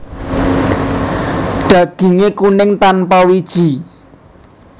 Daginge kuning tanpa wiji